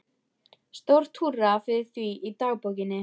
Stórt húrra fyrir því í dagbókinni.